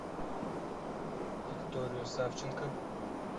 викторию савченко